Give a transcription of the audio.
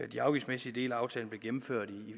de afgiftsmæssige dele af aftalen blev gennemført